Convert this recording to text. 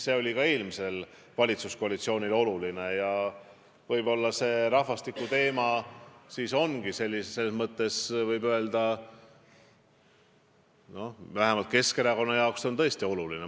See oli ka eelmisele valitsuskoalitsioonile oluline ja rahvastiku teema ongi vähemalt Keskerakonna jaoks tõesti tähtis.